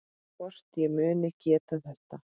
Hvort ég muni geta þetta.